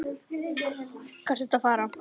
Hvað ertu að fara?